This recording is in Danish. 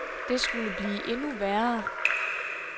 Det skulle blive endnu værre.